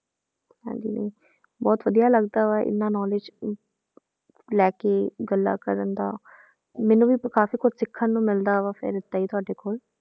ਹਾਂਜੀ ਨਹੀਂ ਬਹੁਤ ਵਧੀਆ ਲੱਗਦਾ ਵਾ ਇੰਨਾ knowledge ਅਮ ਲੈ ਕੇ ਗੱਲਾਂ ਕਰਨ ਦਾ ਮੈਨੂੰ ਵੀ ਕਾਫ਼ੀ ਕੁਛ ਸਿੱਖਣ ਨੂੰ ਮਿਲਦਾ ਵਾ ਫਿਰ ਏਦਾਂ ਹੀ ਤੁਹਾਡੇ ਕੋਲ